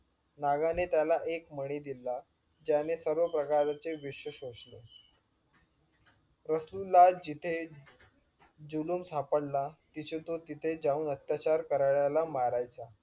नागाने त्याला एक मणी दिला ज्याने सर्व प्रकारचे विश्व शोषले रसूल ला जिथे जुलूम सापडला तिचे तो तिथे जाऊन अत्याचार कारल्याला मारायचा